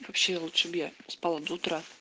вообще лучше б я спала до утра